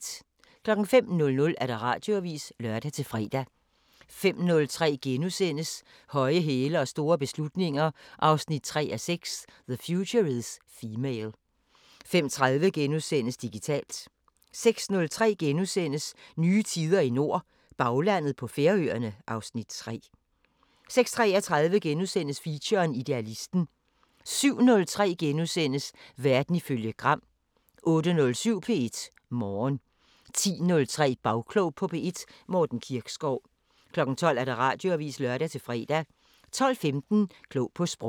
05:00: Radioavisen (lør-fre) 05:03: Høje hæle og store beslutninger 3:6 – The future is female * 05:30: Digitalt * 06:03: Nye tider i nord – Baglandet på Færøerne (Afs. 3)* 06:33: Feature: Idealisten * 07:03: Verden ifølge Gram * 08:07: P1 Morgen 10:03: Bagklog på P1: Morten Kirkskov 12:00: Radioavisen (lør-fre) 12:15: Klog på Sprog